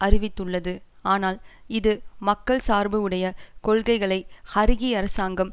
அறிவித்துள்ளது ஆனால் இது மக்கள் சார்பு உடைய கொள்கைகளை ஹறிகி அரசாங்கம்